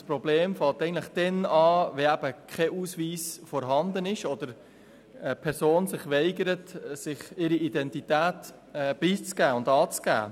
Das Problem beginnt erst dann, wenn kein Ausweis vorhanden ist oder eine Person sich weigert, ihre Identität preiszugeben.